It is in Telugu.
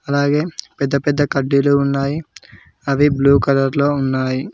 అలాగే పెద్ద పెద్ద కడ్డీలు ఉన్నాయి అవి బ్లూ కలర్ లో ఉన్నాయి.